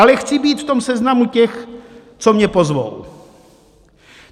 Ale chci být v tom seznamu těch, co mě pozvou.